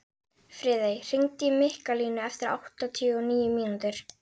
Friðey, hringdu í Mikkalínu eftir áttatíu og níu mínútur.